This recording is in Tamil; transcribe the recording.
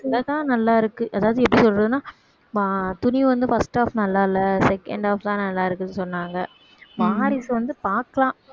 தான் நல்லா இருக்கு அதாவது எப்படி சொல்றதுன்னா அஹ் துணிவு வந்து first half நல்லால்ல second half தான் நல்லாருக்குன்னு சொன்னாங்க வாரிசு வந்து பார்க்கலாம்